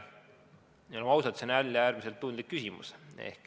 Oleme ausad, see on jälle äärmiselt tundlik küsimus.